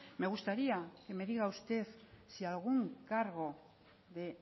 me gustaría que me diga usted si algún cargo de